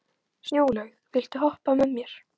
Snjólaug, viltu hoppa með mér?